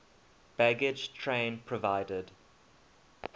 baggage train provided